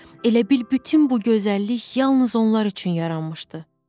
Elə bil bütün bu gözəllik yalnız onlar üçün yaranıb.